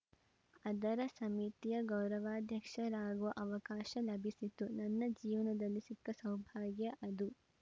ಅದರ ಸಮಿತಿಯ ಗೌರವಾಧ್ಯಕ್ಷರಾಗುವ ಅವಕಾಶ ಲಭಿಸಿತು ನನ್ನ ಜೀವನದಲ್ಲಿ ಸಿಕ್ಕ ಸೌಭಾಗ್ಯ ಅದು